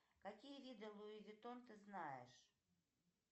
какие виды луи витон ты знаешь